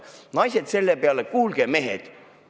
Naised selle peale: "Kuulge, mehed!